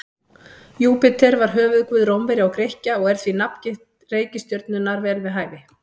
Júpíter var höfuðguð Rómverja og Grikkja og því er nafngift reikistjörnunnar vel við hæfi.